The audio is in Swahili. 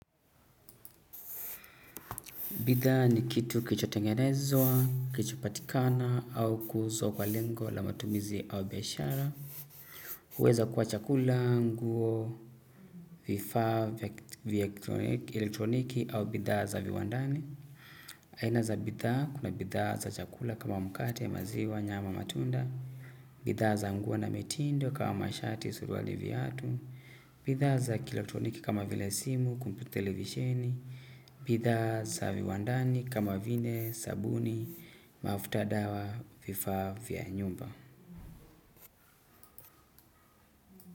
Bidhaa ni kitu kilichotengenezwa, kilichopatikana au kuuzwa kwa lengo la matumizi au biashara. Uweza kuwa chakula, nguo, vifaa vya elektroniki au bidhaa za viwandani. Aina za bidhaa, kuna bidhaa za chakula kama mkate, maziwa, nyama, matunda. Bidhaa za mguo na mitindo kama mashati, suruali viatu. Bidhaa za kielotroniki kama vile simu, kumpyuta televisheni. Bitha za viwandani kama vile sabuni mafuta dawa vifaa vya nyumba.